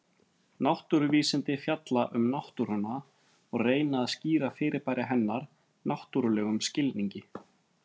Náttúruvísindi fjalla um náttúruna og reyna að skýra fyrirbæri hennar náttúrlegum skilningi.